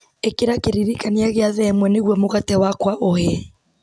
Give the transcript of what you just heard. ĩkĩra kĩririkania gĩa thaa ĩmwe nĩguo mũgate wakwa ũhĩe